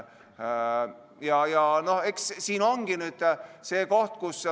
Siin nüüd ongi see koht.